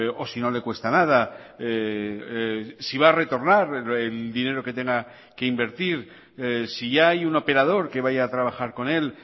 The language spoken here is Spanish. o sino le cuesta nada si va a retornar el dinero que tenga que invertir si ya hay un operador que vaya a trabajar con él